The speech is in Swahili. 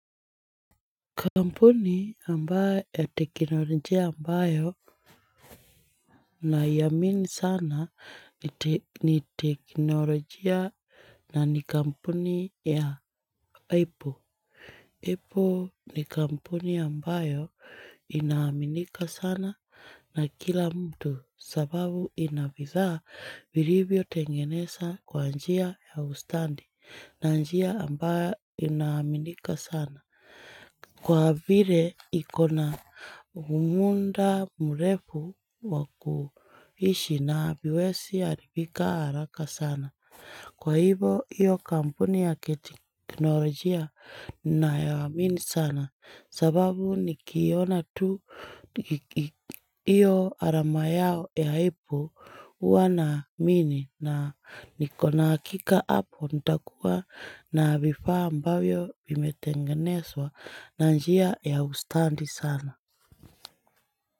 Kampuni ambayo ya teknolojia ambayo naiamini sana ni teknolojia na ni kampuni ya Apple. Apple ni kampuni ambayo inaaminika sana na kila mtu sababu ina bidhaa vilivyo tengenezwa kwa njia ya ustadi na njia ambayo inaaminika sana. Kwa vile ikona muda mrefu wa kuishi na haiwezi haribika haraka sana, Kwa hivo, hiyo kampuni ya kiteknolojia naiamini sana sababu nikiona tu hiyo alama yao ya apple huwa naiamini na nikona hakika hapo nitakuwa na vifaa ambayo vimetengenezwa na njia ya ustadi sana.